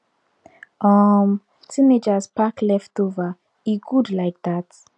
um teenagers pack leftover e good like that